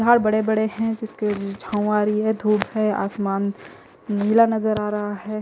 झार बड़े बड़े है जिसके छाव आ रही है धुप है आसमान नीला नजर आ रहा है।